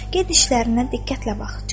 Get işlərinə diqqətlə bax.